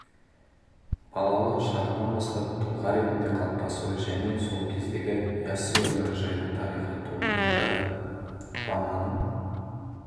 балалық шағынан бастап тұлға ретінде қалыптасуы және сол кездегі яссы өңірі жайлы тарихи туындыда ғұламаның